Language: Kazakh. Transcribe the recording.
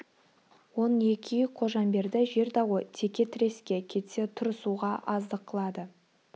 он екі үй қожамберді жер дауы теке тіреске кетсе тұрысуға аздық қылады